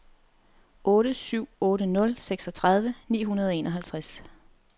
otte syv otte nul seksogtredive ni hundrede og enoghalvtreds